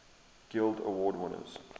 guild award winners